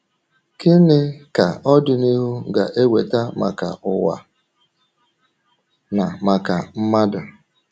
“Kí nì ka ọdịnìhù gà-ewetà maka ǔwa na maka mmadụ?”